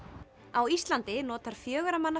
á Íslandi notar fjögurra manna